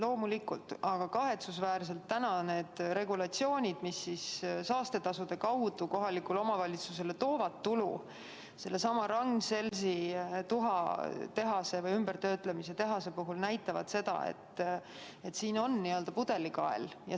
Loomulikult, aga kahetsusväärselt täna need regulatsioonid, mis saastetasude kaudu kohalikule omavalitsusele tulu toovad – näiteks sellesama Ragn-Sellsi tuha töötlemise tehase puhul –, näitavad seda, et siin on pudelikael.